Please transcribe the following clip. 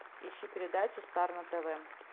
ищи передачу стар на тв